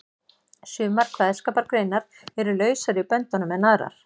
Sumar kveðskapargreinar eru lausari í böndunum en aðrar.